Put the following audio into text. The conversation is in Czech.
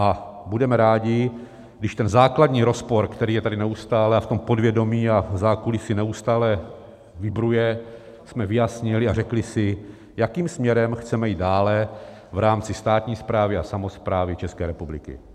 A budeme rádi, když ten základní rozpor, který je tady neustále a v tom podvědomí a v zákulisí neustále vibruje, jsme vyjasnili a řekli si, jakým směrem chceme jít dále v rámci státní správy a samosprávy České republiky.